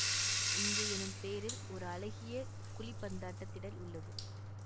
இங்கு எனும் பெயரில் ஓர் அழகிய குழிப்பந்தாட்டத் திடல் உள்ளது